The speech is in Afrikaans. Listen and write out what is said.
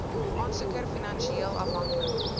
aansoeker finansieel afhanklik